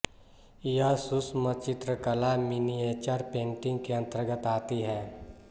यह सूक्ष्मचित्रकला miniature painting के अंतर्गत आती है